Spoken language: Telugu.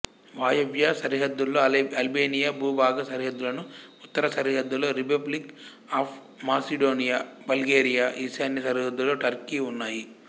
వాయవ్య సరిహద్దులో అల్బేనియా భూభాగ సరిహద్దులను ఉత్తర సరిహద్దులో రిపబ్లిక్ ఆఫ్ మాసిడోనియా బల్గేరియా ఈశాన్య సరిహద్దులో టర్కీ ఉన్నాయి